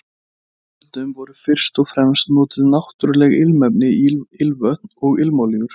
Fyrr á öldum voru fyrst og fremst notuð náttúruleg ilmefni í ilmvötn og ilmolíur.